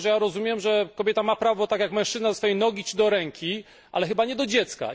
Dlatego, że ja rozumiem, że kobieta ma prawo tak jak mężczyzna do swojej nogi czy do ręki, ale chyba nie do dziecka.